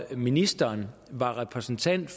ministeren var repræsentant